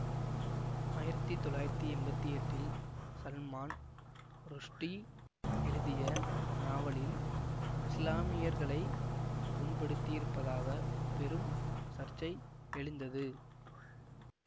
ஆயிரத்தி தொள்ளாயிரத்தி எம்பத்தி எட்டில் சல்மான் ருஷ்டி எழுதிய நாவலில் இசுலாமியர்களைப் புண்படுத்தியிருப்பதாக பெரும் சர்ச்சை எழுந்தது